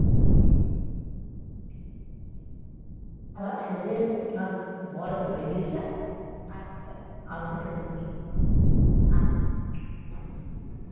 আমার ছেলে আর বর একটু বেরিয়েছে আসলে খেতে বসব